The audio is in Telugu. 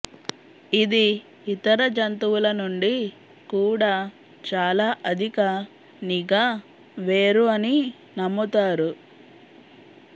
ఇది ఇతర జంతువుల నుండి కూడా చాలా అధిక నిఘా వేరు అని నమ్ముతారు